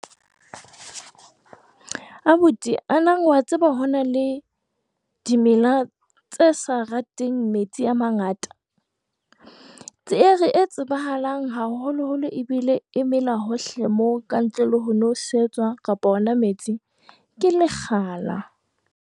Abuti, ana wa tseba hore ho na le dimela tse sa rateng metsi a mangata? E tsebahalang haholoholo ebile e mela hohle mona ka ntle le ho nosetswa kapa ona metsi ke Lekgala.